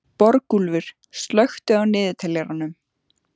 Borgúlfur, slökktu á niðurteljaranum.